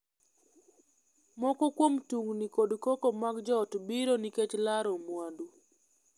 Moko kuom tungni kod koko mag joot biro nikech laro mwandu.